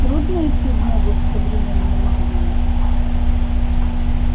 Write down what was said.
трудно идти в ногу с современной магией